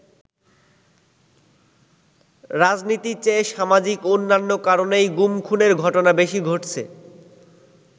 রাজনীতির চেয়ে সামাজিক অন্যান্য কারণেই গুম-খুনের ঘটনা বেশি ঘটছে।